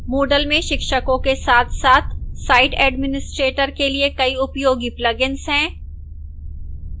moodle में शिक्षकों के साथसाथ site एडमिस्ट्रेटर के लिए कई उपयोगी plugins हैं